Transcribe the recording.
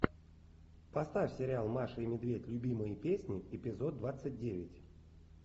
поставь сериал маша и медведь любимые песни эпизод двадцать девять